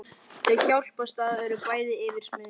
Þau hjálpast að og eru bæði yfirsmiðir.